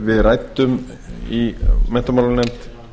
við ræddum í menntamálanefnd